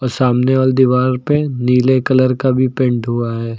सामने वाले दीवार पे नीले कलर का भी पेंट हुआ है।